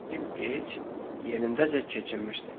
Diqqətcə yerindəcə keçinmişdi.